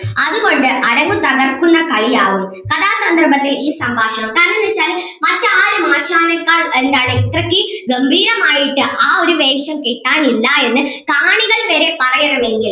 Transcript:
അതുകൊണ്ട് അരങ്ങ് തകർക്കുന്ന കളിയാവും കഥാസന്ദർഭത്തെ ഈ സംഭാഷണം കാരണം എന്താന്ന് വച്ചാൽ മറ്റാരും ആശാനേക്കാൾ എന്താണ് ഇത്രയ്ക്ക് ഗംഭീരം ആയിട്ട് ആ ഒരു വേഷം കെട്ടാൻ ഇല്ല എന്ന് കാണികൾ വരെ പറയണമെങ്കിൽ